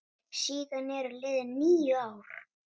Síðan eru liðin níu ár.